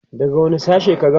daga wani sashen ka gama?